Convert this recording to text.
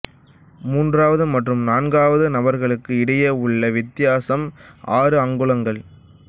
மூன்றாவது மற்றும் நான்காவது நபர்களுக்கு இடையே உள்ள வித்தியாசம் ஆறு அங்குலங்கள்